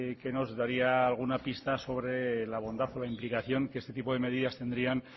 que nos daría alguna pista sobre la bondad o la implicación que este tipo de medidas tendrían